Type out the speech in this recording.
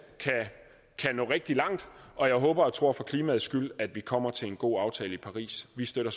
kan nå rigtig langt og jeg håber og tror for klimaets skyld at vi kommer til en god aftale i paris vi støtter